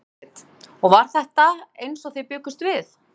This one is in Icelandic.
Jóhanna Margrét: Og var þetta eins og þið bjuggust við?